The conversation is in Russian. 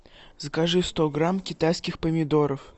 закажи сто грамм китайских помидоров